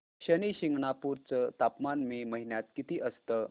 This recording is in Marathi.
शनी शिंगणापूर चं तापमान मे महिन्यात किती असतं